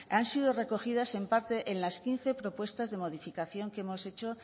han sido recogidas en parte en las quince propuestas de modificaciones que hemos hecho